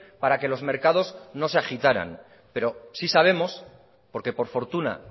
para que los mercados no se agitaran pero sí sabemos porque por fortuna